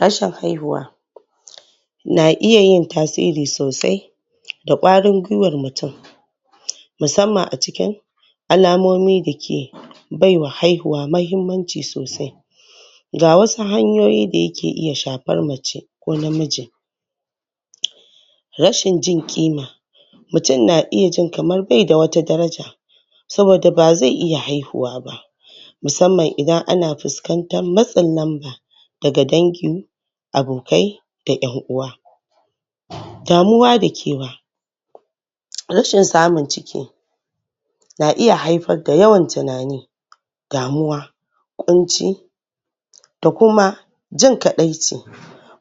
rashin haihuwa na iya yin tasiri sosai da ƙwarin gwiwar mutum musamman a cikin alamomi dake baiwa haihuwa mahimmanci Sosai, ga wasu hanyoyi dayake iya shafar mace ko namiji,, rashin jin ƙima mutum na iya jin kamar Bai da wata daraja saboda bazai iya haihuwa ba musamman Idan ana fusƙantar matsa lamba daga dangi abokai da yanʼuwa damuwa da kewa rashin samun ciki na iya haifar da yawan tunani, damuwa, ƙunci da kuma jin kaɗaici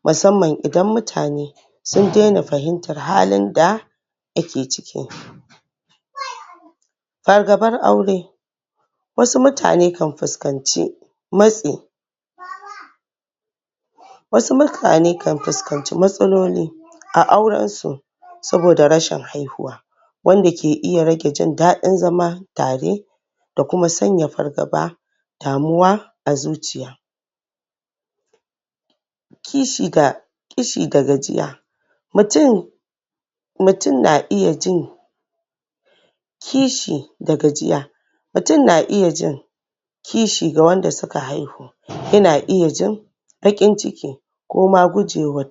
musamman Idan mutane sun nuna fahimtar halin da ake ciki fargabar aure wasu mutane kan fuskanci matsi Wasu mutane kan fuskanci matsaloli a aurensu saboda rashin haihuwa wanda ke iya rage jindaɗin zaman tare da Kuma sanya fargaba, da damuwa a zuciya kishi da kishi da gajiya mutum mutum na iya jin kishi da gajiya mutum na iya jin kishi ga wanda suka haihu yana iya jin baƙin ciki koma gujewa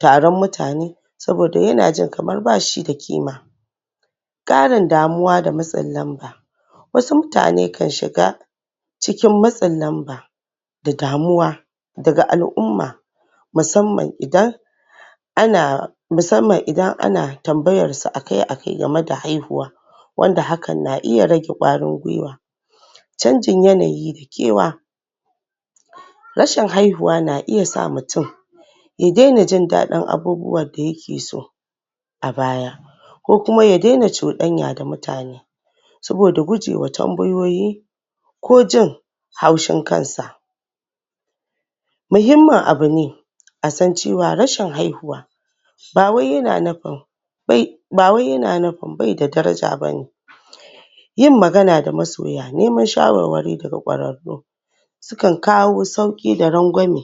taron mutane saboda yana jin kamar bayada kima, ƙarin damuwa da matsin lamba, wasu mutane kan shiga cikin matsin lamba da damuwa daga al'umma musanman idan ana musamman Idan ana tambayarsu akai akai game da haihuwa wanda hakan na iya rage ƙwarin gwiwa canjin yanayi da kewa rashin haihuwa na iya sa mutum ya daina jindaɗin abubuwanda yakeso a baya baya ko Kuma ya daina cuɗanya da mutane saboda gujewa tambayoyi ko jin haushin kansa muhinmman abune asan cewa rashin haihuwa ba wai yana nufin ba wai yana nufin baida daraja bane bane yin magana da masoya neman shawarwari daga ƙwararru sukan kawo sauƙi da rangwame.